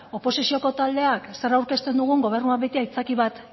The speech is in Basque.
oposizioko taldeak zer aurkezten dugun gobernuak beti aitzakia bat